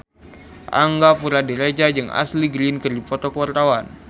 Angga Puradiredja jeung Ashley Greene keur dipoto ku wartawan